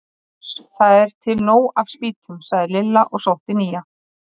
Ég varð fljótt var við að þar höfðu menn margvíslegar og misjafnar skoðanir.